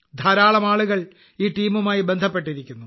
ധാരാളം ആളുകൾ ഈ ടീമുമായി ബന്ധപ്പെട്ടിരിക്കുന്നു